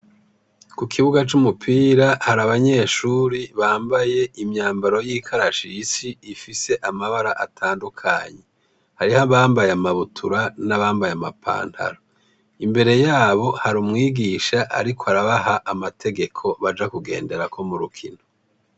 Ku kibuga c'umupira, har’abanyeshure bambaye umwambaro w'ikarashishi, ifise amabara atandukanye. Harih'abambaye amabutura n'abambaye ama pantaro. Imbere yabo har'umwigisha arikw' arabaha amategeko baja kugenderako mu rukino.